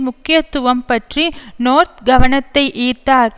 முக்கியத்துவம் பற்றி நோர்த் கவனத்தை ஈர்த்தார்